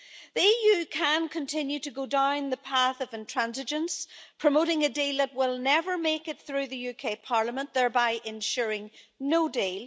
The EU can continue to go down the path of intransigence, promoting a deal that will never make it through the UK Parliament, thereby ensuring no deal.